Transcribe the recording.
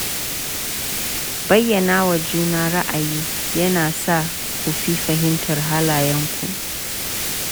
Bayyana wa juna ra’ayi yana sa ku fi fahimtar halayenku.